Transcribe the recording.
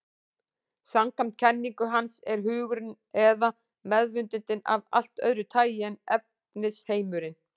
Samkvæmt kenningu hans er hugurinn, eða meðvitundin, af allt öðru tagi en efnisheimurinn.